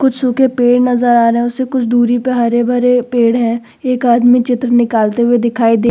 कुछ सूखे पेड़ नज़र आ रहा है। उसके कुछ दूरी पे हरे भरे पेड़ हैं। एक आदमी चित्र निकलते हुए दिखाई दे --